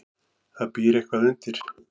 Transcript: Það býr eitthvað undir.